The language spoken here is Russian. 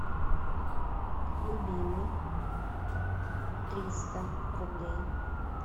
любимый триста рублей